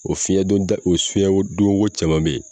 O fiɲɛdon da, o fiɲɛdon wo caman bɛ ye.